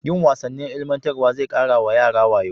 Yin wasannin ilmantarwa zai ƙara wa yara wayo.